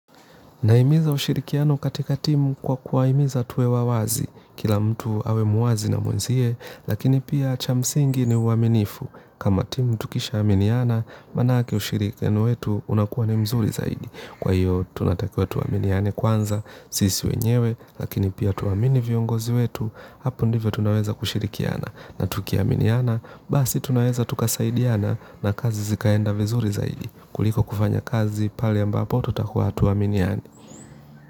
Nahimiza ushirikiano katika timu kwa kuwahimiza tuwe wawazi, kila mtu awe muwazi na mwenzie, lakini pia cha msingi ni uaminifu. Kama timu tukishaaminiana, maanake ushirikiano wetu unakuwa ni mzuri zaidi. Kwa hiyo, tunatakiwa tuaminiane kwanza, sisi wenyewe, lakini pia tuwaamini viongozi wetu, hapo ndivyo tunaweza kushirikiana. Na tukiaminiana, basi tunaweza tukasaidiana na kazi zikaenda vizuri zaidi. Kuliko kufanya kazi, pale ambapo tutakuwa hatuaminiani.